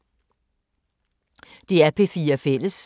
DR P4 Fælles